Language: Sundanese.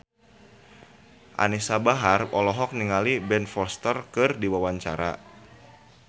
Anisa Bahar olohok ningali Ben Foster keur diwawancara